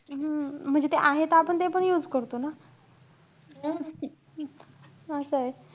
हम्म म्हणजे ते आहे त आपण ते पण use करतो ना. असंय.